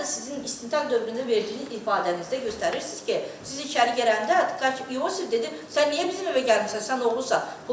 Hətta sizin istintaq dövründə verdiyiniz ifadənizdə göstərirsiz ki, siz içəri gələndə Yusif dedi sən niyə bizim evə gəlmisən, sən oğrusan.